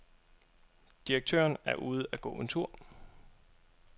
Direktøren er ude at gå en tur.